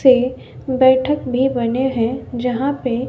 थे बैठक भी बने है जहां पे--